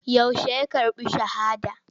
Yaushe ya karɓi shahada.